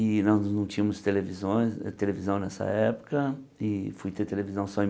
E nós não tínhamos televisôes televisão nessa época e fui ter televisão só em mil